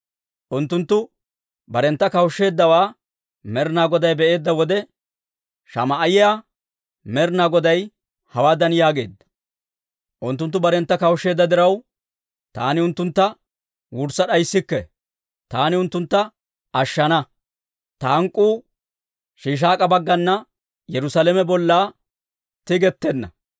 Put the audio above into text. Unttunttu barentta kawushsheeddawaa Med'inaa Goday be'eedda wode, Shamaa'iyaa Med'inaa Goday hawaadan yaageedda; «Unttunttu barentta kawushsheedda diraw, taani unttuntta wurssa d'ayisikke; taani unttuntta ashshana. Ta hank'k'uu Shiishaak'a baggana Yerusaalame bolla tigettenna.